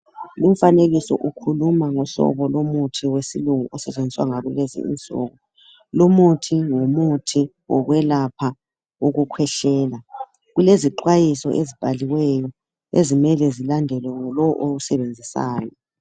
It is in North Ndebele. Umfanekiso ukhuluma ngohlobo lomuthi wesilungu osetshenziswa ngakulezinsuku lumuthi ngumuthi wokwelapha ukukhwehlela kulezixwayiso ezibhaliweyo ezimele zilandelwe ngulowo owusebenzisayo.